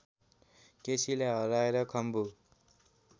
केसीलाई हराएर खम्बु